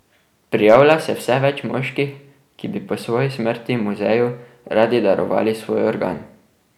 Prijavlja se vse več moških, ki bi po svoji smrti muzeju radi darovali svoj organ.